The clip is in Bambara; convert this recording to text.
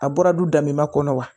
A bɔra du da min ma kɔnɔ wa